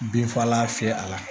Binfagalan fiyɛ a la